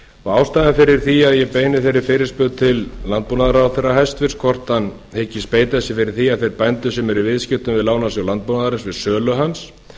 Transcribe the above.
ástæðan fyrir því að ég beini þeirri fyrirspurn til hæstvirts landbúnaðarráðherra hvort hann hyggist beita sér fyrir því að þeir bændur sem eru í viðskiptum við lánasjóð landbúnaðarins við sölu hans